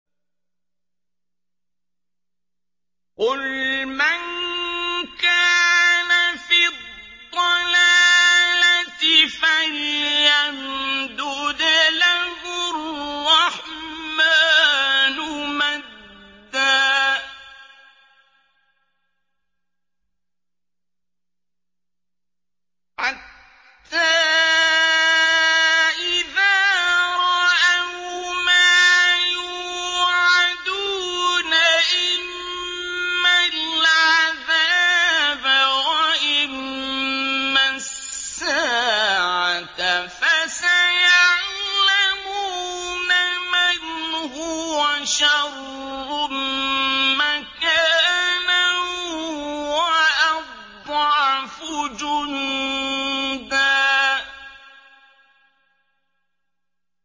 قُلْ مَن كَانَ فِي الضَّلَالَةِ فَلْيَمْدُدْ لَهُ الرَّحْمَٰنُ مَدًّا ۚ حَتَّىٰ إِذَا رَأَوْا مَا يُوعَدُونَ إِمَّا الْعَذَابَ وَإِمَّا السَّاعَةَ فَسَيَعْلَمُونَ مَنْ هُوَ شَرٌّ مَّكَانًا وَأَضْعَفُ جُندًا